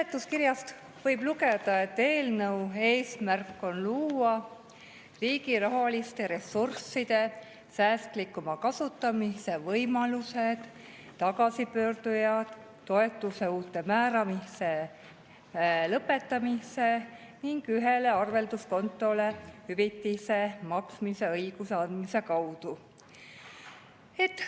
Seletuskirjast võib lugeda, et eelnõu eesmärk on luua riigi rahaliste ressursside säästlikuma kasutamise võimalused tagasipöörduja toetuse uute määramiste lõpetamise ning ühele arvelduskontole hüvitise maksmise õiguse andmise kaudu.